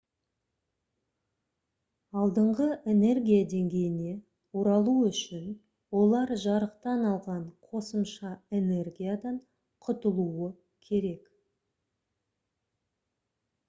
алдыңғы энергия деңгейіне оралу үшін олар жарықтан алған қосымша энергиядан құтылуы керек